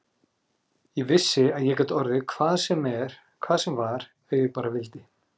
Ég vissi að ég gat orðið hvað sem var ef ég bara vildi.